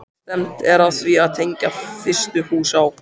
Stefnt er að því að tengja fyrstu hús á